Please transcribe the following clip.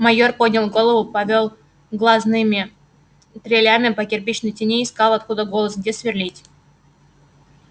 майор поднял голову повёл глазными дрелями по кирпичной тени искал откуда голос где сверлить